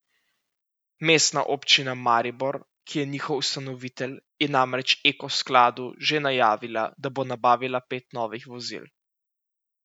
Mestna občina Maribor, ki je njihov ustanovitelj, je namreč Eko skladu že najavila, da bo nabavila pet novih vozil.